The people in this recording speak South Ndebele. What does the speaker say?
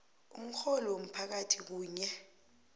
umrholi womphakathi kunye